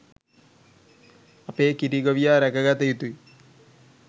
අපේ කිරි ගොවියා රැක ගතයුතුයි